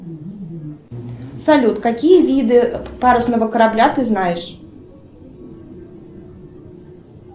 салют какие виды парусного корабля ты знаешь